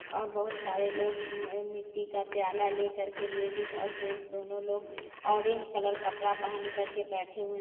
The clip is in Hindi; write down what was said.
और बहोत सारे लोग म मिट्टी का प्याला लेकर के लेडीज और जेंट्स दोनों लोग ऑरेंज कलर कपड़ा पहन कर के बैठे हुए --